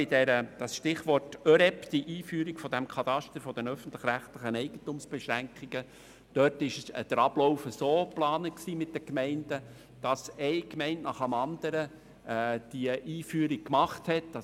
Bei der Einführung des ÖREB-Katasters war der Ablauf mit den Gemeinden so geplant, dass eine Gemeinde nach der anderen diese Einführung machen würde.